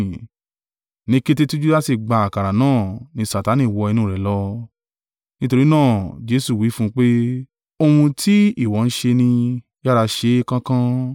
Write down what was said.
Ní kété tí Judasi gba àkàrà náà ni Satani wọ inú rẹ̀ lọ. Nítorí náà Jesu wí fún un pé, “Ohun tí ìwọ ń ṣe nì, yára ṣe é kánkán.”